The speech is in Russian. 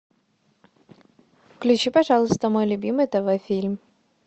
включи пожалуйста мой любимый тв фильм